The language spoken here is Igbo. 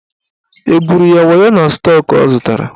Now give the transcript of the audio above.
Egwuru ya wayo na stọk ọ zụtara?